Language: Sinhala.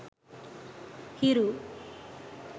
hiru